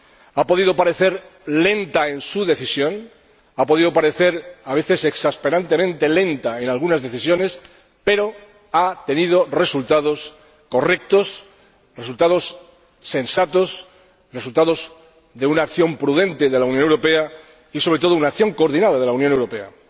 Ha podido parecer lenta en su decisión. Ha podido parecer a veces exasperantemente lenta en algunas decisiones, pero ha obtenido resultados correctos, resultados sensatos, resultados de una acción prudente de la Unión Europea y, sobre todo, una acción coordinada de la Unión Europea.